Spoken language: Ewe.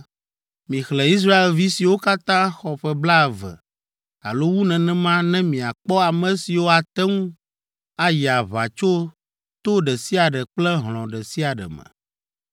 “Mixlẽ Israelvi siwo katã xɔ ƒe blaeve alo wu nenema ne miakpɔ ame siwo ate ŋu ayi aʋa tso to ɖe sia ɖe kple hlɔ̃ ɖe sia ɖe me.”